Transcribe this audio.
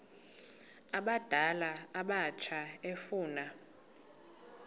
abadala abatsha efuna